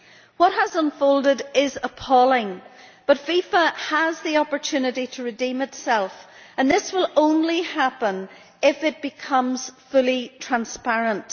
What has unfolded is appalling, but FIFA has the opportunity to redeem itself, and this will only happen if it becomes fully transparent.